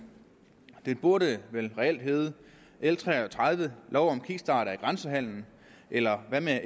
det burde reelt have heddet l tre og tredive lov om kickstart af grænsehandelen eller hvad med at